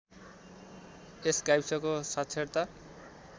यस गाविसको साक्षरता